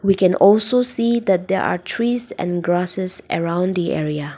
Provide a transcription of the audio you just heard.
we can also see that they are trees and grasses around the area.